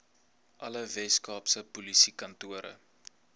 alle weskaapse polisiekantore